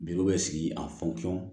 Biriw bɛ sigi a fɔnfɔn